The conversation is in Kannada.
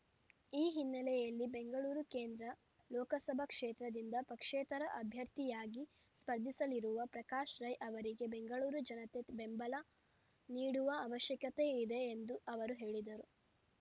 ಈ ಹಿನ್ನೆಲೆಯಲ್ಲಿ ಬೆಂಗಳೂರು ಕೇಂದ್ರ ಲೋಕಸಭಾ ಕ್ಷೇತ್ರದಿಂದ ಪಕ್ಷೇತರ ಅಭ್ಯರ್ಥಿಯಾಗಿ ಸ್ಪರ್ಧಿಸಲಿರುವ ಪ್ರಕಾಶ್ ರೈ ಅವರಿಗೆ ಬೆಂಗಳೂರು ಜನತೆ ಬೆಂಬಲ ನೀಡುವ ಅವಶ್ಯಕತೆಯಿದೆ ಎಂದು ಅವರು ಹೇಳಿದರು